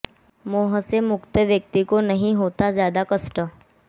मोह से मुक्त व्यक्ति को नहीं होता ज्यादा कष्ट